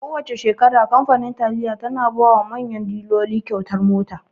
Kowana shekara kamfanin taliya tana bawa manyan diloli kyautar mota.